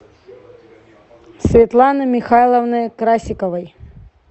светланы михайловны красиковой